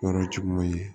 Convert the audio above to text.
Yɔrɔ jugu ye